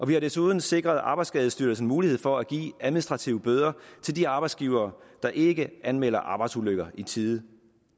vi har desuden sikret arbejdsskadestyrelsen mulighed for at give administrative bøder til de arbejdsgivere der ikke anmelder arbejdsulykker i tide